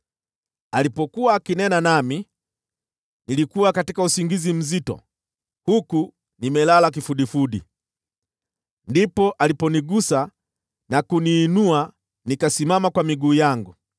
Alipokuwa akinena nami, nilikuwa katika usingizi mzito, huku nimelala kifudifudi. Ndipo aliponigusa na kunisimamisha wima.